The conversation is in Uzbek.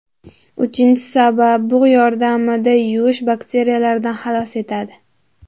Uchinchi sabab: bug‘ yordamida yuvish Bakteriyalardan xalos etadi.